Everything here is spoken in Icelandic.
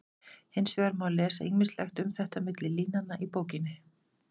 Hins vegar má lesa ýmislegt um þetta milli línanna í bókinni.